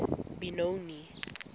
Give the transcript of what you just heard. benoni